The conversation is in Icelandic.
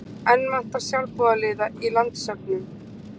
Enn vantar sjálfboðaliða í landssöfnun